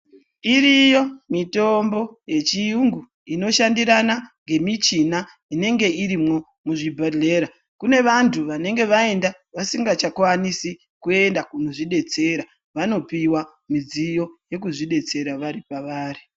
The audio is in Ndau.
Iriyo mitombo yechiyungu inoshandirana ngemichina inenge urimwo muzvibhedhlera. Kune vantu vanenge vaenda vasingachakwanisi kwenda kunozvidetsera vanopiwa midziyo yekuti vazvidetsera vari pavari